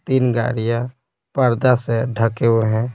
तीन गाड़ियां पर्दा से ढके हुए हैं।